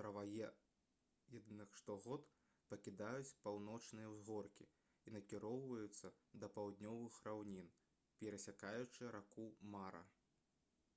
траваедных штогод пакідаюць паўночныя ўзгоркі і накіроўваюцца да паўднёвых раўнін перасякаючы раку мара